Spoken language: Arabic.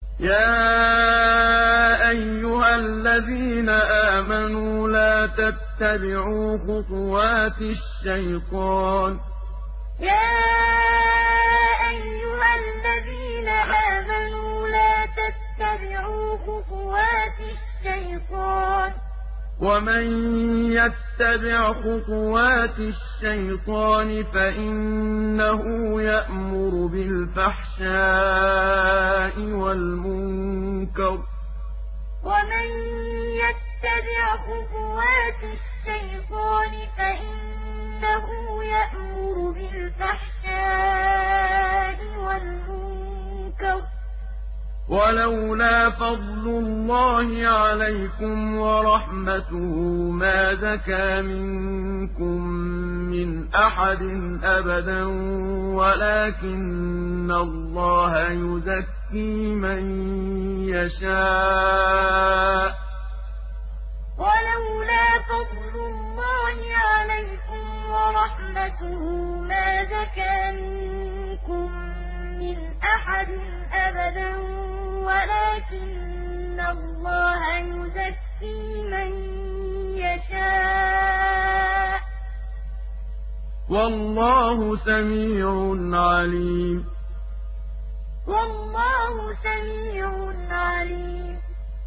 ۞ يَا أَيُّهَا الَّذِينَ آمَنُوا لَا تَتَّبِعُوا خُطُوَاتِ الشَّيْطَانِ ۚ وَمَن يَتَّبِعْ خُطُوَاتِ الشَّيْطَانِ فَإِنَّهُ يَأْمُرُ بِالْفَحْشَاءِ وَالْمُنكَرِ ۚ وَلَوْلَا فَضْلُ اللَّهِ عَلَيْكُمْ وَرَحْمَتُهُ مَا زَكَىٰ مِنكُم مِّنْ أَحَدٍ أَبَدًا وَلَٰكِنَّ اللَّهَ يُزَكِّي مَن يَشَاءُ ۗ وَاللَّهُ سَمِيعٌ عَلِيمٌ ۞ يَا أَيُّهَا الَّذِينَ آمَنُوا لَا تَتَّبِعُوا خُطُوَاتِ الشَّيْطَانِ ۚ وَمَن يَتَّبِعْ خُطُوَاتِ الشَّيْطَانِ فَإِنَّهُ يَأْمُرُ بِالْفَحْشَاءِ وَالْمُنكَرِ ۚ وَلَوْلَا فَضْلُ اللَّهِ عَلَيْكُمْ وَرَحْمَتُهُ مَا زَكَىٰ مِنكُم مِّنْ أَحَدٍ أَبَدًا وَلَٰكِنَّ اللَّهَ يُزَكِّي مَن يَشَاءُ ۗ وَاللَّهُ سَمِيعٌ عَلِيمٌ